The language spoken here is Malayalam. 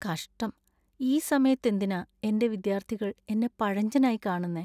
കഷ്ടം, ഈ സമയത്ത്, എന്തിനാ എന്‍റെ വിദ്യാർത്ഥികൾ എന്നെ പഴഞ്ചനായി കാണുന്നെ?